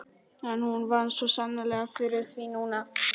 En hún vann svo sannarlega fyrir því núna.